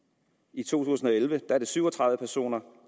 i to tusind og elleve er syv og tredive personer